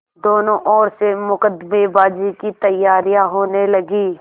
दोनों ओर से मुकदमेबाजी की तैयारियॉँ होने लगीं